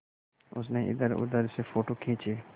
उसने इधरउधर से फ़ोटो खींचे